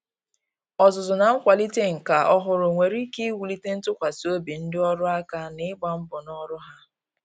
Ọzụzụ na nkwalite nka ọhụrụ nwere ike iwulite ntụkwasị obi ndị ọrụ aka ná ịgba mbọ ná ọrụ ha.